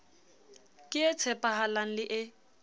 ke e tshepahalang le e